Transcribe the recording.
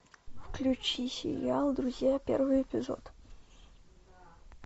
включи сериал друзья первый эпизод